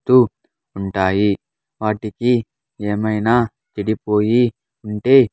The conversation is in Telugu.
టు ఉంటాయి వాటికి ఏమైనా చెడిపోయి ఉంటే.